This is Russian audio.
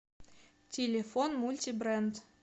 телефон мультибренд